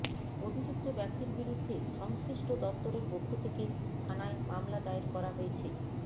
অভিযুক্ত ব্যক্তির বিরুদ্ধে সংশ্লিষ্ট দপ্তরের পক্ষ থেকে থানায় মামলা দায়ের করা হয়েছে